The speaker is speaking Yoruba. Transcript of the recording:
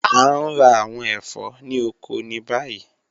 A ń rá àwọn ẹfọ̀ ni ọkọ̀ ni bayí.